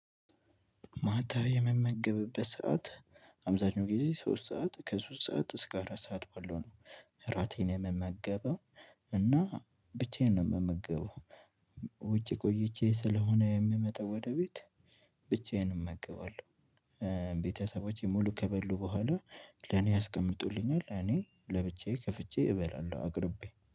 ማታ የምመገብበት ሰዓት አብዛኛው ጊዜ ሶስት ሰዓት ከሶስት ሰዓት እስከ አራት ሰዓት ባለው ነው። እራቴን የምመገበው እና ብቻዬን ነው የምመገበው ውጪ ቆይቼ ስለሆነ የምመጣው ወደ ቤት ብቻዬን እመግባለሁ። ቤተሰቦቼ ሙሉ ከበሉ በኋላ ለኔ ያስቀምጡልኛል፤ እኔ ለብቻዬ ከፍቼ እበላለሁ አቅርቤ፤